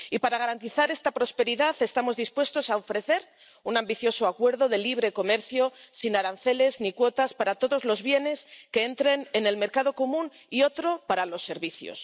Y, para garantizar esta prosperidad, estamos dispuestos a ofrecer un ambicioso acuerdo de libre comercio, sin aranceles ni cuotas, para todos los bienes que entren en el mercado común y otro para los servicios.